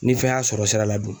Ni fɛn y'a sɔrɔ sira la dun?